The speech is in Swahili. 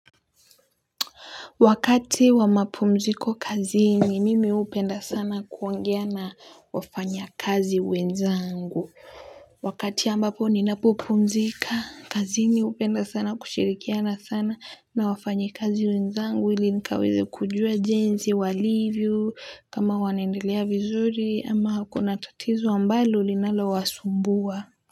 Wakati wa mapumziko kazini mimi gupenda sana kuongea na wafanya kazi wenzangu. Wakati ambapo ninapopumzika kazini hupenda sana kushirikiana sana na wafanya kazi wenzangu ili nikaweze kujua jinsi walivyo kama wanendelea vizuri ama kuna tatizo ambalo linalowasumbua.